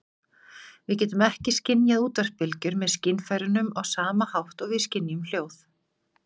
Við getum ekki skynjað útvarpsbylgjur með skynfærunum á sama hátt og við skynjum hljóð.